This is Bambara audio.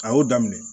A y'o daminɛ